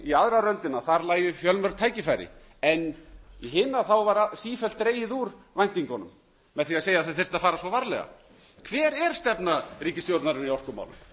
í aðra röndina að þar lægju fjölmörg tækifæri en í hina var sífellt dregið úr væntingunum með því að segja að það þyrfti að fara svo varlega hver er stefna ríkisstjórnarinnar í orkumálum